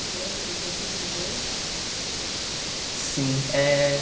você viu mudanças lá? Sim eh